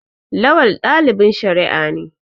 Lawal dalibin shari'a ne.